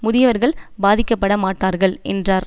முதியவர்கள் பாதிக்கப்பட மாட்டார்கள் என்றார்